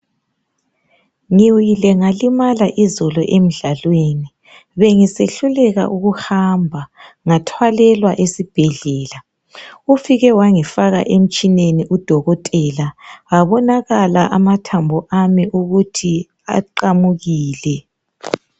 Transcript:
Ngiwile ngalimala izolo emdlalweni bengise hluleka ukuhamba ngathwalela esibhedlela, ufike wangifaka emtshineni udokotela abonakala amathambo ami ukuthi aqamukile.